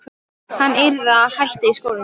Hann yrði að hætta í skólanum!